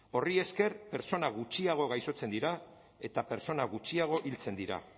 horri esker pertsona gutxiago gaixotzen dira eta pertsona gutxiago hiltzen dira